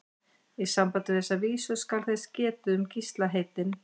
Í sambandi við þessa vísu skal þess getið um Gísla heitinn